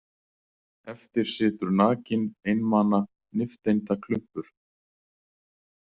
Eftir situr nakinn einmana nifteindaklumpur.